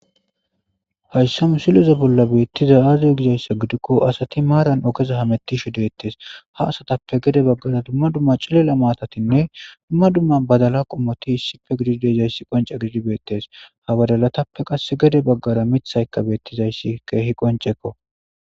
hayssa mu siloze bolla beettiza aaziy gizayssa gidikko asati maaran okeza hamettishi dettees ha asatappe gede baggara dumma dumma cilela maatatinne dumma dumma badala qommoti hissipfe gidi dejayssi qonca gididibeettes habadalatappe qas gede baggara mithayka beettizayssi keehi qoncekko